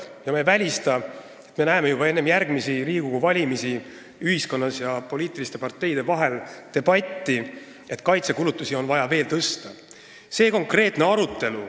Ja ma ei välista, et me näeme juba enne järgmisi Riigikogu valimisi ühiskonnas ja poliitiliste parteide vahel debatti selle üle, kas kaitsekulutusi on vaja veel tõsta.